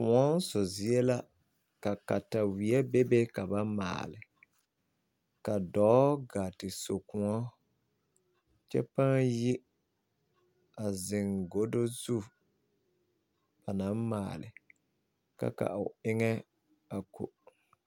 Kõɔ so zie la ka kataweɛ bebe ka ba maale ka dɔɔ gaa ti so kõɔ kyɛ pãã yi a zeŋ godo zu ba naŋ maale ka ka o eŋɛ a ko.